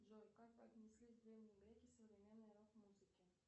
джой как бы отнеслись древние греки к современной рок музыке